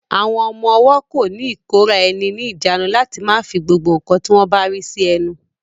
Àwọn ọmọ-ọwọ́ kò ní ìkóraẹni ní ìjánu láti má fi gbogbo ǹkan tí wọ́n bá rí sí ẹnu